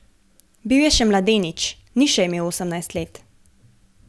Bil je še mladenič, ni še imel osemnajst let.